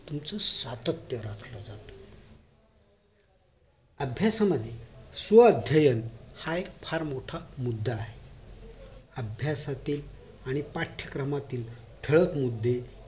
तुमचं सत्यात राखलं जात अभ्यासामध्ये स्वअध्ययन हा एक फार मोठा मुदा आहे अभ्यासातील आणि पाठ्यक्रमातील ठळक मुद्दे